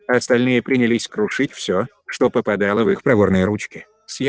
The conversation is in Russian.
остальные принялись крушить все что попадало в их проворные ручки с